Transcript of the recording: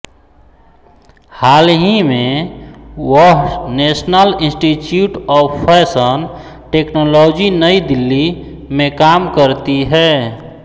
हाह्ली मे वह national institute of fashion technology Nai Delhi में काम करती है